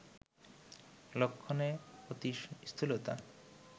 লক্ষণে অতি স্থূলতা